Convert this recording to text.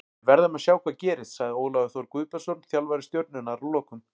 Við verðum að sjá hvað gerist, sagði Ólafur Þór Guðbjörnsson þjálfari Stjörnunnar að lokum.